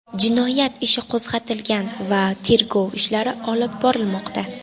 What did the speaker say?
Jinoyat ishi qo‘zg‘atilgan va tergov ishlari olib borilmoqda.